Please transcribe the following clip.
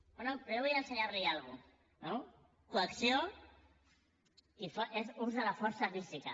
però jo vull ensenyar li una cosa no coacció és ús de la força física